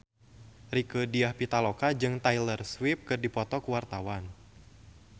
Rieke Diah Pitaloka jeung Taylor Swift keur dipoto ku wartawan